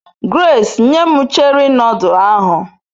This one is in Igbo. Grace, nye m Cheri nodul ahu